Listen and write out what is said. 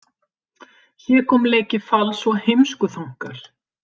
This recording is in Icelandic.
Hégómleiki, fals og heimskuþankar.